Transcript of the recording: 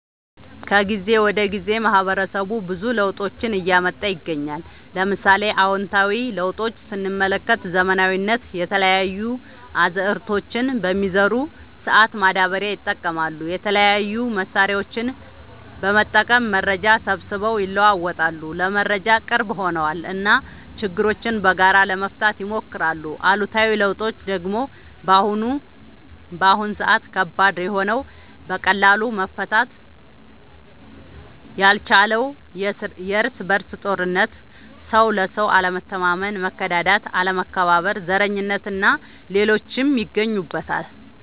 ከጊዜ ወደ ጊዜ ማህበረሰቡ ብዙ ለውጦችን እያመጣ ይገኛል። ለምሳሌ፦ አዎንታዊ ለውጦች ስንመለከት ዘመናዊነት፣ የተለያዩ አዝዕርቶችን በሚዘሩ ሰአት ማዳበሪያ ይጠቀማሉ፣ የተለያዩ መሳሪያዎችን በመጠቀም መረጃ ሰብስበው ይለዋወጣሉ (ለመረጃ ቅርብ ሆነዋል ) እና ችግሮችን በጋራ ለመፍታት ይሞክራሉ። አሉታዊ ለውጦች ደግሞ በአሁን ሰአት ከባድ የሆነው በቀላሉ መፈታት ያልቻለው የርስ በርስ ጦርነት፣ ሰው ለሰው አለመተማመን፣ መከዳዳት፣ አለመከባበር፣ ዘረኝነት እና ሌሎችም ይገኙበታል።